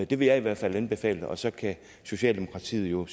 det vil jeg i hvert anbefale og så kan socialdemokratiet jo